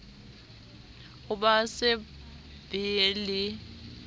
ho ba se be le